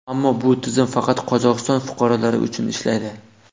Ammo bu tizim faqat Qozog‘iston fuqarolari uchun ishlaydi.